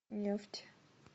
нефть